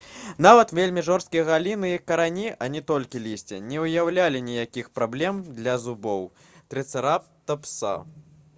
нават вельмі жорсткія галіны і карані а не толькі лісце не ўяўлялі ніякіх праблем для зубоў трыцэратапса